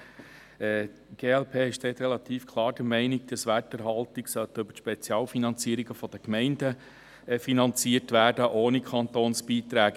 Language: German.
Die glp ist relativ klar der Meinung, dass Werterhaltung über die Spezialfinanzierungen der Gemeinden finanziert wird, ohne Kantonsbeiträge.